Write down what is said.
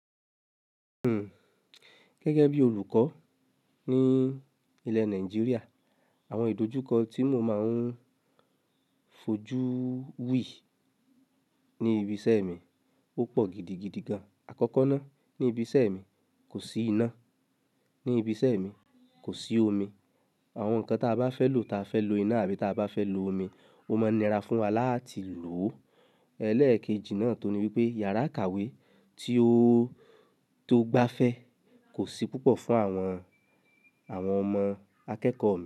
Hmm, gẹ́gẹ́ bí olùkọ́ ní ilẹ̀ Nàìjíríà, àwọn ìdojúkọ tí mo máa ń fojú wí ní ibi iṣẹ́ mi ó pọ̀ gidigidi gan. Àkọ́kọ́ náà ní ibi iṣẹ́ mi kò sí iná, ní ibi iṣẹ́ mi kò sí omi. Àwọn nǹkan tí a bá fẹ́ lò, tí a fẹ́ lo iná àbí tí a bá fẹ́ lo omi, ó máa nira fún wa láti lò ó. Elẹ́ẹ̀kejì náà tún ní wípé yàrá ìkàwé tí ó, tó gbáfẹ́ kò sí púpọ̀ fún àwọn, àwọn ọmọ akẹ́kọ̀ọ́ mí.